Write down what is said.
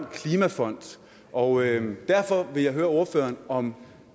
klimafond og derfor vil jeg høre ordføreren om